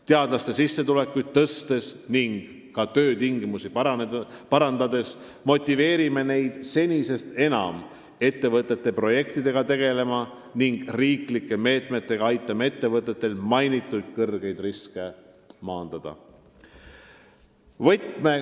Teadlaste sissetulekuid tõstes ning nende töötingimusi parandades motiveerime neid senisest enam ettevõtete projektidega tegelema, ka aitame riiklike meetmetega ettevõtetel mainitud kõrgeid riske maandada.